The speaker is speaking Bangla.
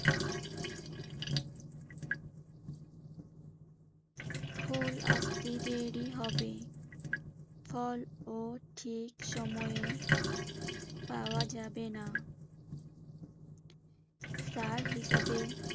ফুল আসতে দেরি হবে। ফল ও ঠিক সময়ে পাওয়া যাবে না। সার হিসেবে